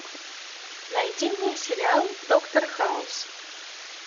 найди мне сериал доктор хаус